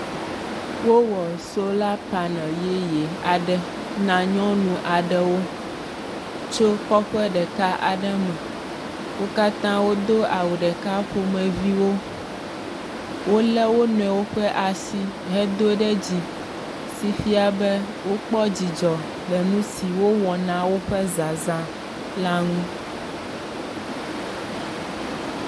Wowɔ solar panel yeye aɖe na nyɔnu aɖewo tso kɔƒe ɖeka aɖe me. Wo katã wodo awu ɖeka ƒomeviwo. Wolé wonuiwo ƒe asi hedo ɖe dzi si fia be wokpɔ dzidzɔ le nu si wowɔ na woƒe zazã la ŋu.